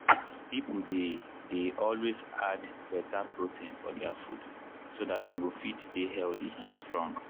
people dey dey always add better protein for their food so dat dem go fit dey healthy and strong.